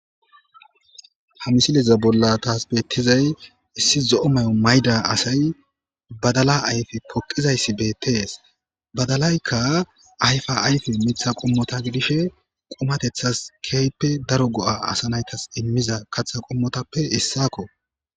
ha misileza bolla taasbettizay issi zo7o may7o mayda asay badala ayfi poqizayssi beettees badalaykka ayfa ayfi mitha qommota gidishe qomatethas keeyppe daro go7a asa naytas immiza katha qommotappe hessakko